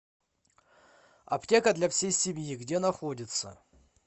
аптека для всей семьи где находится